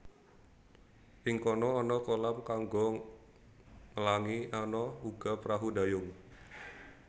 Ing kono ana kolam kanggo nglangi ana uga prahu dayung